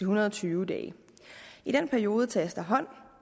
hundrede og tyve dage i den periode tages der hånd